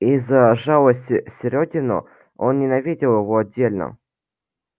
и за жалость серёгину он ненавидел его отдельно